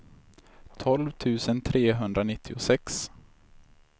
tolv tusen trehundranittiosex